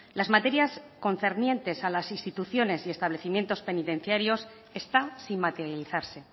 las materias concernientes a las instituciones y establecimientos penitenciarios está sin materializarse